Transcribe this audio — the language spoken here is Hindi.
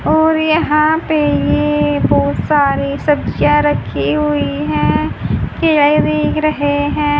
और यहां पे ये बहुत सारे सब्ज़ियां रखी हुई है रहे हैं।